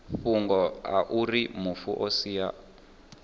fhungo auri mufu o sia